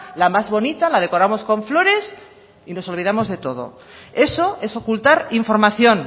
la más bonita la decoramos con flores y nos olvidamos de todo eso es ocultar información